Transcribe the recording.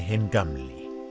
hinn gamli